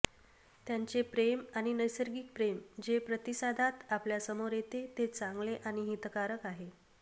त्यांचे प्रेम आणि नैसर्गिक प्रेम जे प्रतिसादात आपल्या समोर येते ते चांगले आणि हितकारक आहे